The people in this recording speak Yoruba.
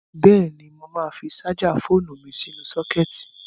Bẹ́ẹ̀ni, mo máa fi ṣájà fóònu mi sínú sọ́kẹ́ẹ̀tì.